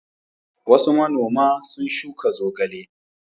Wasu manoma sun shuka zogale.